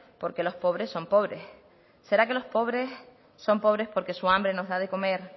por qué los pobres son pobres será que los pobres son pobres porque su hambre nos da de comer